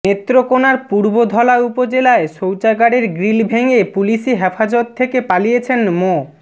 নেত্রকোনার পূর্বধলা উপজেলায় শৌচাগারের গ্রিল ভেঙে পুলিশি হেফাজত থেকে পালিয়েছেন মো